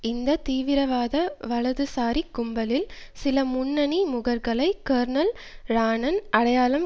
இந்த தீவிரவாத வலதுசாரிக் கும்பலில் சில முன்னணி முகர்களை கேர்னல் ரான்னன் அடையாளம்